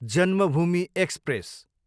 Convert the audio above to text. Janmabhoomi express